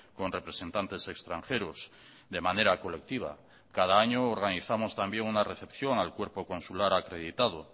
con representantes extranjeros de manera colectiva cada año organizamos también una recepción al cuerpo consular acreditado